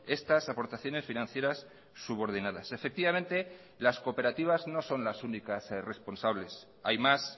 estas aportaciones financieras subordinadas efectivamente las cooperativas no son las únicas responsables hay más